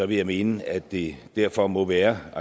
vil jeg mene at det derfor må være